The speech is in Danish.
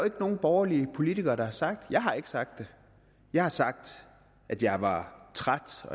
nogen borgerlige politikere der har sagt jeg har ikke sagt det jeg har sagt at jeg var træt af